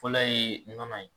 Fɔlɔ yee mun kama yen